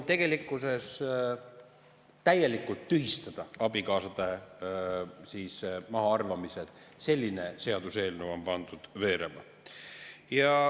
Tegelikkuses tuleb täielikult tühistada abikaasade mahaarvamised, selline seaduseelnõu on pandud veerema.